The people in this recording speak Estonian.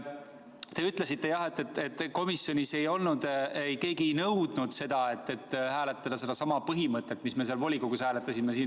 Te ütlesite, jah, et komisjonis keegi ei nõudnud seda, et hääletada siin Riigikogus sedasama põhimõtet, mida me seal volikogus hääletasime.